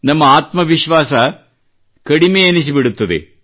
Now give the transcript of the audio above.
ನಮ್ಮ ಆತ್ಮ ವಿಶ್ವಾಸ ಕಡಿಮೆ ಎನಿಸಿಬಿಡುತ್ತದೆ